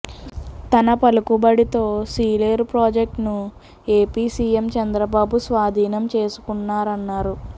తన పలుకుబడితో సీలేరు ప్రాజెక్టును ఏపీ సీఎం చంద్రబాబు స్వాధీనం చేసుకున్నారన్నారు